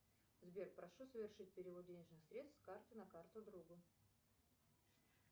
сбер прошу совершить перевод денежных средств с карты на карту другу